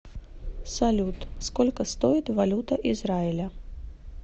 салют сколько стоит валюта израиля